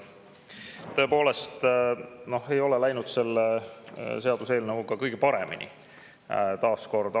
Tõepoolest ei ole läinud selle seaduseelnõuga kõige paremini, taas kord.